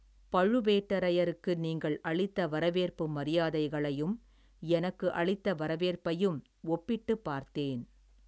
பழுவேட்டரையருக்கு நீங்கள் அளித்த வரவேற்பு மரியாதைகளையும் எனக்கு அளித்த வரவேற்பையும் ஒப்பிட்டுப் பார்த்தேன்.